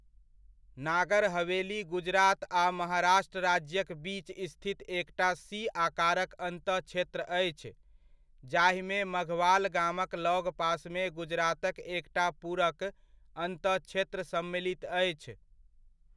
नागर हवेली गुजरात आ महाराष्ट्र राज्यक बीच स्थित एकटा सी आकारक अन्तःक्षेत्र अछि, जाहिमे मघवाल गामक लगपासमे गुजरातक एकटा पूरक अन्तःक्षेत्र सम्मिलित अछि।